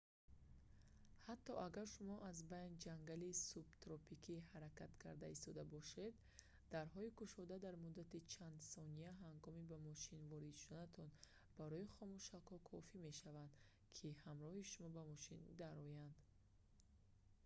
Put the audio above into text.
ҳатто агар шумо аз байни ҷангали субтропикӣ ҳаракат карда истода бошед дарҳои кушода дар муддати чанд сония ҳангоми ба мошин ворид шуданатон барои хомӯшакҳо кофӣ мешавад ки ҳамроҳи шумо ба мошин дароянд